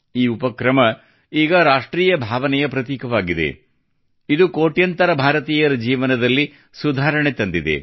ಈ ಉಪಕ್ರಮ ಈಗ ರಾಷ್ಟ್ರೀಯ ಭಾವನೆಯ ಪ್ರತೀಕವಾಗಿದೆ ಇದು ಕೋಟ್ಯಂತರ ಭಾರತೀಯರ ಜೀವನದಲ್ಲಿ ಸುಧಾರಣೆ ತಂದಿದೆ